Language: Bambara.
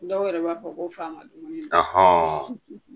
dɔw yɛrɛ b'a fɔ ko faama dumuni don